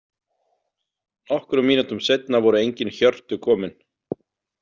Nokkrum mínútum seinna voru engin hjörtu komin.